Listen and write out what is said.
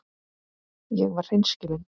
Ég var hreinskilin.